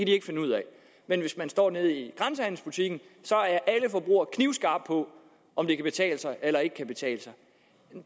ikke finde ud af men hvis man står nede i grænsehandelsbutikken så er alle forbrugere knivskarpe på om det kan betale sig eller ikke kan betale sig